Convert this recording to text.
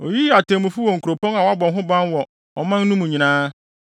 Oyiyii atemmufo wɔ nkuropɔn a wɔabɔ ho ban wɔ ɔman no mu nyinaa,